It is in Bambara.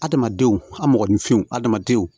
Adamadenw a mɔgɔninfinw adamadenw